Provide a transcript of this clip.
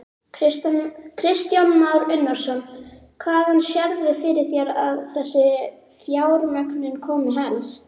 Kristján Már Unnarsson: Hvaðan sérðu fyrir þér að þessi fjármögnun komi helst?